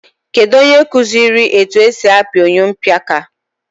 Kedu onye kụziri etu esi apị oyompịaka?